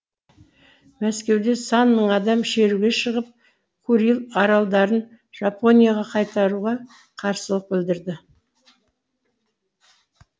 мәскеуде сан мың адам шеруге шығып куриль аралдарын жапонияға қайтаруға қарсылық білдірді